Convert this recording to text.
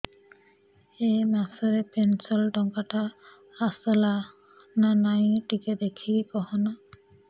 ଏ ମାସ ରେ ପେନସନ ଟଙ୍କା ଟା ଆସଲା ନା ନାଇଁ ଟିକେ ଦେଖିକି କହନା